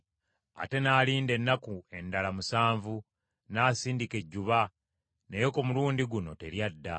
Ate n’alinda ennaku endala musanvu, n’asindika ejjuba, naye ku mulundi guno teryadda.